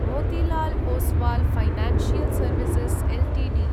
Motilal Oswal financial services Ltd